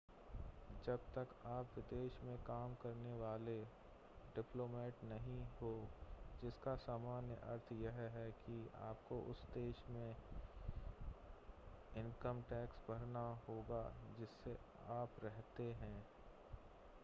जब तक आप विदेश में काम करने वाले डिप्लोमेट नहीं हों जिसका सामान्य अर्थ यह है कि आपको उस देश में इनकम टैक्स भरना होगा जिसमें आप रहते हैं